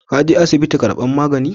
Kun je asibiti karban magani?